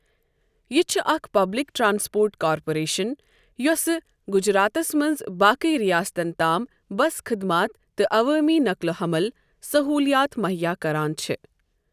یہِ چھ اكھ پبلِک ٹرانسپوٹ كارپوریشن یۄسہٕ گٗجراتس منز تہٕ باقی رِیاستن تام بس خدمات تہٕ عوٲمی نقل و حمل سہوٗلِیات مٗہییا كران چھےٚ۔